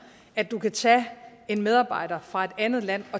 at de kan tage en medarbejder fra et andet land